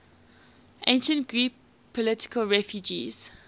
ancient greek political refugees